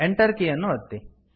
Enter key ಯನ್ನು ಒತ್ತಿ